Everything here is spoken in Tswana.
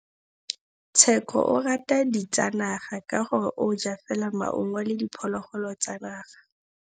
Tshekô o rata ditsanaga ka gore o ja fela maungo le diphologolo tsa naga.